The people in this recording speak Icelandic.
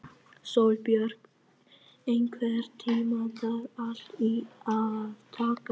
Sólbjört, einhvern tímann þarf allt að taka enda.